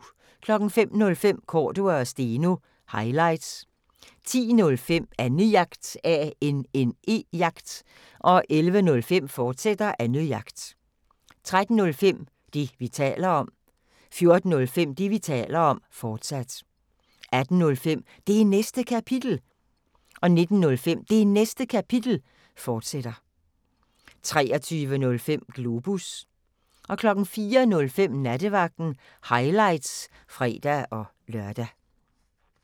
05:05: Cordua & Steno – highlights 10:05: Annejagt 11:05: Annejagt, fortsat 13:05: Det, vi taler om 14:05: Det, vi taler om, fortsat 18:05: Det Næste Kapitel 19:05: Det Næste Kapitel, fortsat 23:05: Globus 04:05: Nattevagten – highlights (fre-lør)